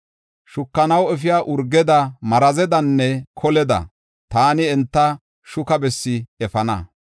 Shukanaw efiya urgeda, marazedanne koleda taani enta shuka bessi efana.